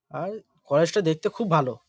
আর কয়েজ টা দেখতে খুব ভালো।